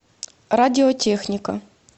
радиотехника